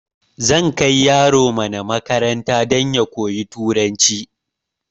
Zan kai yaro mana makaranta don ya koyi turanci